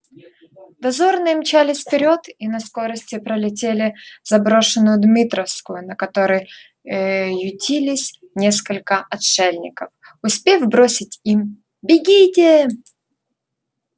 дозорные мчались вперёд и на скорости пролетели заброшенную дмитровскую на которой ээ ютились несколько отшельников успев бросить им бегите